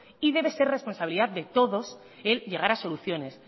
y debe ser responsabilidad de todos el llegar a soluciones